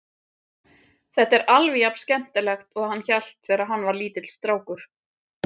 Þetta er alveg jafnskemmtilegt og hann hélt þegar hann var lítill strákur.